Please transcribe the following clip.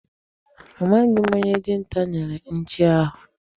Amaghị m onye dinta nyere nchi ahụ.